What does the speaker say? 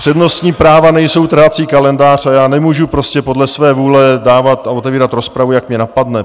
Přednostní práva nejsou trhací kalendář a já nemůžu prostě podle své vůle dávat a otevírat rozpravu, jak mě napadne.